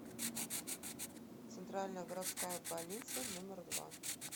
центральная городская больница номер два